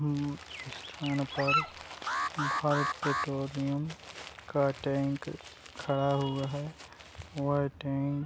स्थान पर भारत पेट्रोलियम का टैंक खड़ा हुआ है | वह टैंक --